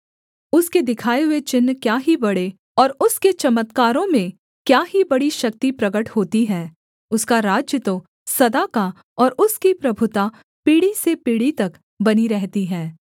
उसके दिखाए हुए चिन्ह क्या ही बड़े और उसके चमत्कारों में क्या ही बड़ी शक्ति प्रगट होती है उसका राज्य तो सदा का और उसकी प्रभुता पीढ़ी से पीढ़ी तक बनी रहती है